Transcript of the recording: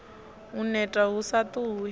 u neta hu sa ṱuwi